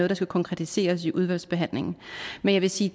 der skal konkretiseres i udvalgsbehandlingen men jeg vil sige